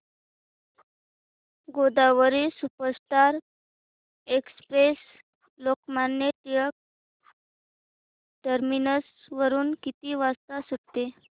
Godavari superfast express Lokmanya Tilak terminus वरून किती वाजता सुटते